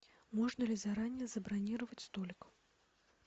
можно ли заранее забронировать столик